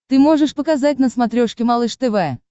ты можешь показать на смотрешке малыш тв